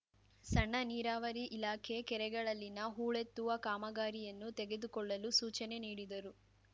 ಸಣ್ಣ ನೀರಾವರಿ ಇಲಾಖೆ ಕೆರೆಗಳಲ್ಲಿನ ಹೂಳೆತ್ತುವ ಕಾಮಗಾರಿಯನ್ನು ತೆಗೆದುಕೊಳ್ಳಲು ಸೂಚನೆ ನೀಡಿದರು